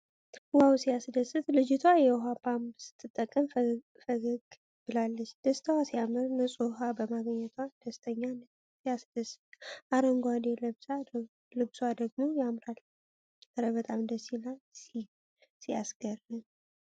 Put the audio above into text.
ዋው! ሲያስደስት! ልጅቷ የውሃ ፓምፕ ስትጠቀም ፈገግ ብላለች። ደስታዋ ሲያምር! ንጹህ ውሃ በማግኘቷ ደስተኛ ነች። ሲያስደስት! አረንጓዴው ልብሷ ደግሞ ያምራል። እረ በጣም ደስ ይላል! ሲያስገርም!